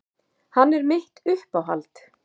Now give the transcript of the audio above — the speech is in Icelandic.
Hann er mitt uppáhald.